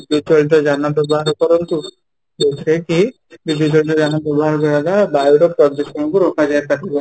ବିଦ୍ୟୁତ ଚାଳିତ ଯାନ ବ୍ୟବହାର କରନ୍ତୁ ଜଉଥିରେ କି ବ୍ୟବହାର କରିବା ଦ୍ୱାରା ବାୟୁ ର ପ୍ରଦୂଷଣ କୁ ରୋକାଯାଇପାରିବ